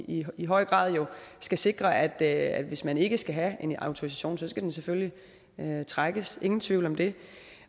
i i høj grad skal sikre at at hvis man ikke skal have en autorisation så skal den selvfølgelig trækkes ingen tvivl om det